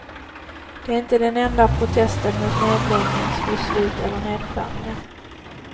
Det är inte den enda protesten mot nedläggningsbeslut eller nedskärningar.